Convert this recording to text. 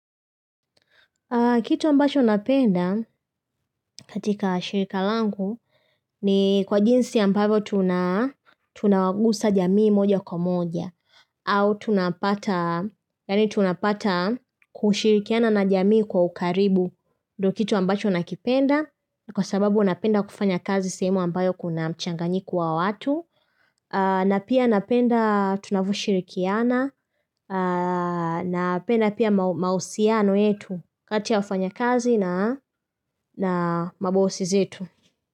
Kitu ambacho napenda katika shirika langu ni kwa jinsi ambavo tuna tunawagusa jamii moja kwa moja. Au tunapata yani tunapata kushirikiana na jamii kwa ukaribu. Ndo kitu ambacho nakipenda kwa sababu napenda kufanya kazi sehemu ambayo kuna mchanganyiko wa watu, a na pia napenda tunavoshirikiana, a na penda pia mau maosiano yetu. Kati ya wafanya kazi na na mabosi zetu.